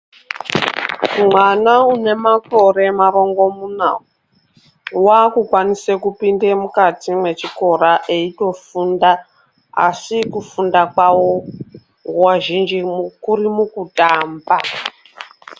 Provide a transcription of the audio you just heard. Mwana une makore marongomuna wakukwanise kupinde mukati mwechikora eitofunda ashi kufunda kwawo nguwa zhinji mukuri mukutamba.